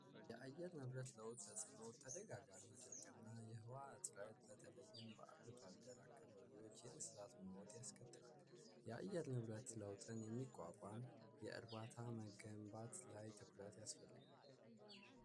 የአየር ንብረት ለውጥ ተፅዕኖ ተደጋጋሚ ድርቅ እና የዉሃ እጥረት በተለይም በአርብቶ አደሮች አካባቢ የእንስሳት ሞት ያስከትላል። የአየር ንብረት ለውጥ ለ የሚቋቋም ላይ የግንባታ ትኩረት ያስፈልጋል።